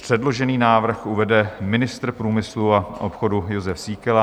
Předložený návrh uvede ministr průmyslu a obchodu Jozef Síkela.